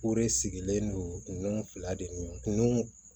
O de sigilen don fila de kun